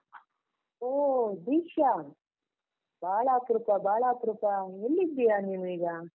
ಓ ದೀಕ್ಷಾ, ಬಾಳ ಅಪ್ರೂಪ, ಬಾಳ ಅಪ್ರೂಪ ಎಲ್ಲಿದ್ದೀಯ ನೀನು ಈಗ?